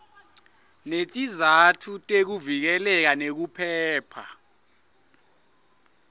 netizatfu tekuvikeleka nekuphepha